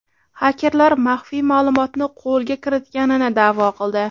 Xakerlar maxfiy ma’lumotni qo‘lga kiritganini da’vo qildi.